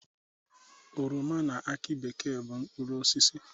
Oroma na akị bekee bụ mkpụrụosisi.